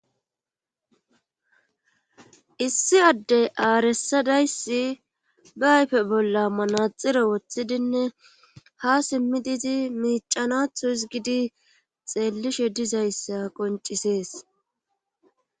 issi addey aaresadayssi ba ayfe bolla manaxire woththidinne ha simmidizi miicanatho isgidi xeellishe dizayssa qoncisees